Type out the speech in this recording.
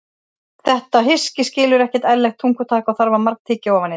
Þetta hyski skilur ekki ærlegt tungutak og þarf að margtyggja ofan í það.